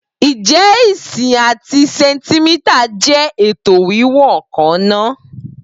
Ǹjẹ́ ìǹṣì àti sẹ̀ǹtímítà jẹ́ ètò wíwọ̀n kan náà?